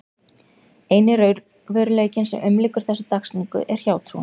Eini raunveruleikinn sem umlykur þessa dagsetningu er hjátrúin.